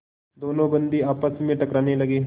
दोनों बंदी आपस में टकराने लगे